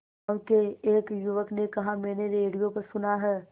गांव के एक युवक ने कहा मैंने रेडियो पर सुना है